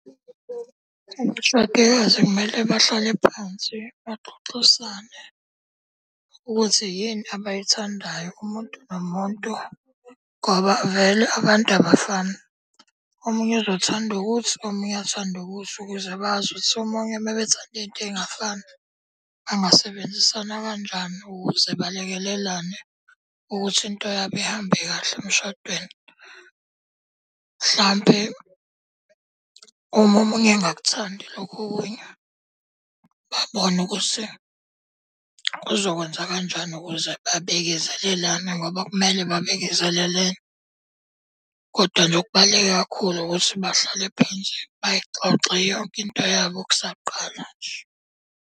Abashadikazi kumele bahlale phansi baxoxisane ukuthi yini abayithandayo umuntu nomuntu ngoba vele abantu abafani, omunye uzothanda ukuthi, omunye athande ukuthi. Ukuze bazi ukuthi omunye uma bethanda into ey'ngafani bangasebenzisana kanjani ukuze balekelelane ukuthi into yabo ihambe kahle emshadweni. Mhlampe uma omunye engakuthandi lokhu okunye, babone ukuthi kuzokwenza kanjani ukuze babekezelelane ngoba kumele babekezelelene. Kodwa loku okubaluleke kakhulu ukuthi bahlale phansi bayixoxe yonke into yabo kusaqala nje.